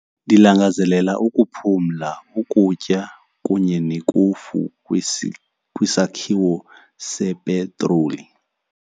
Ndilangazelela ukuphumla, ukutya kunye nekofu kwisakhiwo sepetroli.